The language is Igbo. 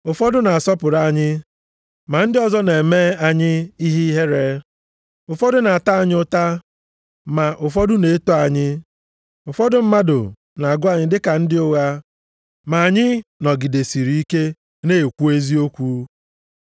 Ụfọdụ na-asọpụrụ anyị ma ndị ọzọ na-eme anyị ihe ihere. Ụfọdụ na-ata anyị ụta, ma ụfọdụ na-eto anyị. Ụfọdụ mmadụ na-agụ anyị dị ka ndị ụgha, ma anyị nọgidesịrị ike na-ekwu eziokwu.